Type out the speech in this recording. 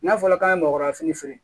N'a fɔra k'an ye mɔkɔya fini feere